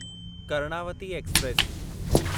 Karnavati express